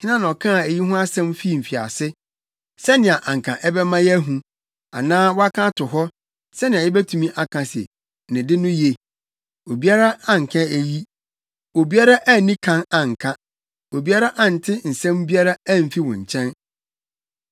Hena na ɔkaa eyi ho asɛm fii mfiase, sɛnea anka ɛbɛma yɛahu, anaa waka ato hɔ, sɛnea yebetumi aka se, ‘Ne de no ye’? Obiara anka eyi, obiara anni kan anka, obiara ante nsɛm biara amfi wo nkyɛn.